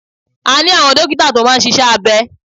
A ní àwọn dókítà tó máa ń ṣíṣe abẹ.